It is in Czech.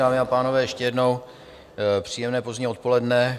Dámy a pánové, ještě jednou příjemné pozdní odpoledne.